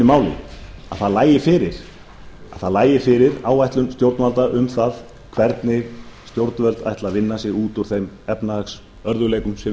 máli að það lægi fyrir áætlun stjórnvalda um það hvernig stjórnvöld ætla að vinna sig út úr þeim efnahagsörðugleikum sem við er að